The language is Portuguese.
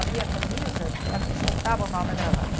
Abria a camisa e a soltava o nó da gravata.